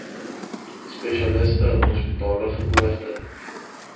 spesialiste hospitale geboorte